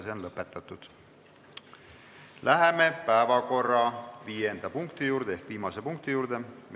Läheme päevakorra viienda ehk viimase punkti juurde.